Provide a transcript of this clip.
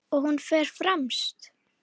Og hún fer fremst.